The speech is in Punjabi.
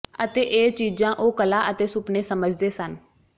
ਅਤੇ ਇਹ ਚੀਜ਼ਾਂ ਉਹ ਕਲਾ ਅਤੇ ਸੁਪਨੇ ਸਮਝਦੇ ਸਨ